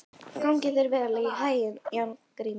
Gangi þér allt í haginn, Járngrímur.